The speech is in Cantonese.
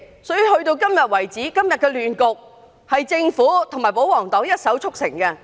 所以，今天的亂局，是政府及保皇黨一手促成。